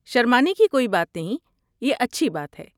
شرمانے کی کوئی بات نہیں، یہ اچھی بات ہے۔